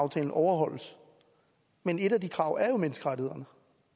aftalen overholdes men et af de krav er jo menneskerettighederne